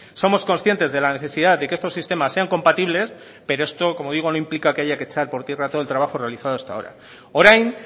somos conscientes de la necesidad de que estos sistemas sean compatibles pero esto como digo no implica que haya que echar por tierra todo el trabajo realizado hasta ahora orain